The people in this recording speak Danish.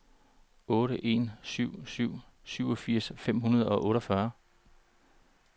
otte en syv syv syvogfirs fem hundrede og otteogfyrre